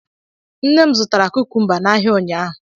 Nne m zụtara kukumba n'ahịa ụnyaahụ